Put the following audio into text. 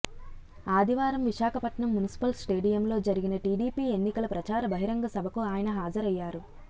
ఆదివారం విశాఖపట్నం మున్సిపల్ స్టేడియంలో జరిగిన టీడీపీ ఎన్నికల ప్రచార బహిరంగ సభకు ఆయన హజరయ్యారు